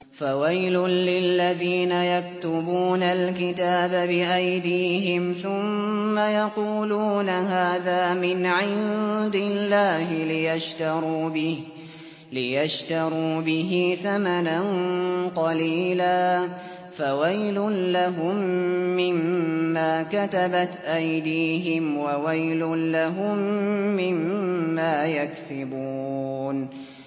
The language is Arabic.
فَوَيْلٌ لِّلَّذِينَ يَكْتُبُونَ الْكِتَابَ بِأَيْدِيهِمْ ثُمَّ يَقُولُونَ هَٰذَا مِنْ عِندِ اللَّهِ لِيَشْتَرُوا بِهِ ثَمَنًا قَلِيلًا ۖ فَوَيْلٌ لَّهُم مِّمَّا كَتَبَتْ أَيْدِيهِمْ وَوَيْلٌ لَّهُم مِّمَّا يَكْسِبُونَ